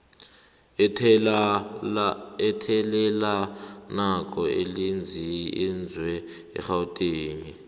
athelelanako elinzinze egauteng